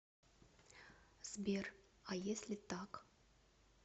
сбер а если так